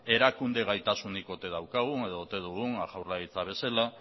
erakunde gaitasunik ote daukagun edo ote dugun jaurlaritza bezala